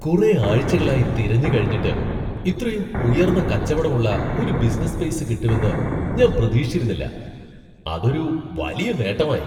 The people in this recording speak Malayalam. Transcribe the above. കുറെ ആഴ്ചകളായി തിരഞ്ഞ് കഴിഞ്ഞിട്ട് ഇത്രയും ഉയർന്ന കച്ചവടം ഉള്ള ഒരു ബിസിനസ്സ് സ്പേസ് കിട്ടുമെന്ന് ഞാൻ പ്രതീക്ഷിച്ചിരുന്നില്ല , അതൊരു വലിയ നേട്ടമായി .